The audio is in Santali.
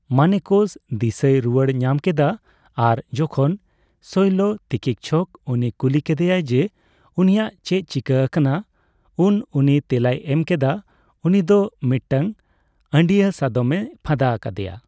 ᱢᱟᱱᱮᱠᱚᱥ ᱫᱤᱥᱟᱹᱭ ᱨᱩᱭᱟᱹᱲ ᱧᱟᱢ ᱠᱮᱫᱟ ᱟᱨ ᱡᱚᱠᱷᱚᱱ ᱥᱚᱭᱞᱚᱛᱤᱠᱤᱷᱟᱠ ᱩᱱᱤ ᱠᱩᱞᱤ ᱠᱮᱫᱮᱭᱟᱭ ᱡᱮ ᱩᱱᱤᱭᱟᱜ ᱪᱮᱫ ᱪᱤᱠᱟᱹ ᱟᱠᱟᱱᱟ, ᱩᱱ ᱩᱱᱤ ᱛᱮᱞᱟᱭ ᱮᱢ ᱠᱮᱫᱟ ᱩᱱᱤᱫᱚ ᱢᱤᱫᱴᱟᱝ ᱟᱹᱰᱭᱟᱹ ᱥᱟᱫᱚᱢᱮ ᱯᱷᱟᱸᱫᱟ ᱟᱠᱟᱫᱮᱭᱟ ᱾